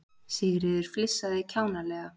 Sigríður flissaði kjánalega.